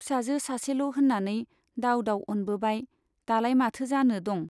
फिसाजो सासेल' होन्नानै दाव दाव अनबोबाय , दालाय माथो जानो दं ?